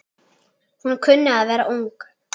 Hún kunni að vera ung.